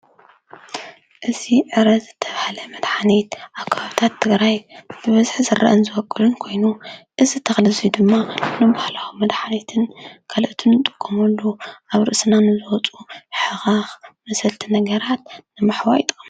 እዚ ዕረ ዝተባህለ መድሓኒት ኣብ ከባብታት ትግራይ ብበዝሒ ዝርአን ዝበቊልን ኮይኑ እዚ ተኽሊ እዚ ድማ ንባህላዊ መድሓኒትን ካልኦትን ንጥቀመሉ፡፡ ኣብ ርእስና ንወፁ ሕኸኽ መሰልቲ ነገራት ንምሕዋይ ይጠቕመና፡፡